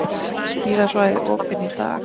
Skíðasvæði opin í dag